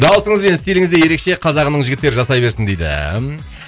даусыңыз бен стиліңіз де ерекше қазағымның жігіттері жасай берсін дейді